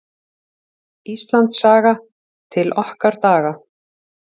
Íslandssaga: til okkar daga.